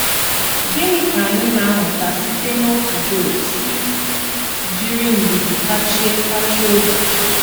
Gịnị ka anyị na - amụta site n’otú Job si jiri ndidi tachie tachie obi?